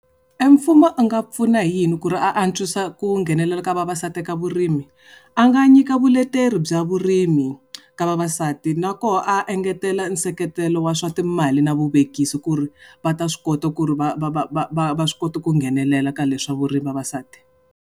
E mfumo a nga pfuna hi yini ku ri a antswisa ku nghenelela ka vavasati ka vurimi? A nga nyika vuleteri bya vurimi, ka vavasati na koho a engetela nseketelo wa swa timali na vuvekisi ku ri va ta swi kota ku ri va va va va va va swi kota ku nghenelela ka le swa vurimi vavasati.